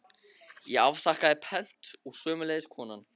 Ég afþakkaði pent og sömuleiðis konan.